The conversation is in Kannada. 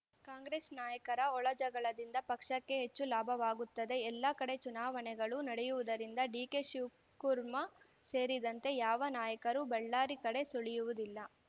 ಕಾಂಗ್ರೆಸ್‌ ನಾಯಕರ ಒಳ ಜಗಳಗಳಿಂದ ಪಕ್ಷಕ್ಕೆ ಹೆಚ್ಚು ಲಾಭವಾಗುತ್ತದೆ ಎಲ್ಲ ಕಡೆ ಚುನಾವಣೆಗಳು ನಡೆಯುವುದರಿಂದ ಡಿಕೆಶಿವಕುರ್ಮಾ ಸೇರಿದಂತೆ ಯಾವ ನಾಯಕರು ಬಳ್ಳಾರಿ ಕಡೆ ಸುಳಿಯುವುದಿಲ್ಲ